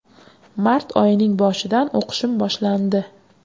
Mart oyining boshidan o‘qishim boshlandi.